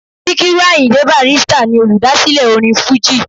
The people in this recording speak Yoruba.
Síkírù Àyìndé Bàrístà ni olùdásílẹ̀ orin fújì